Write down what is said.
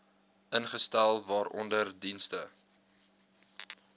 ingestel waaronder dienste